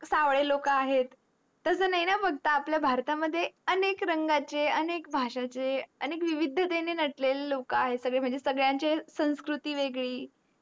सवडे लोक आहेत तस नाही न फक्त आपल्या भारत मध्ये अनेक रंग चे अनेक भाषा चे अनेक विवधतेचे नटलेले लोक आहेत म्हणजे संगड्यांची संस्कृति वेगडी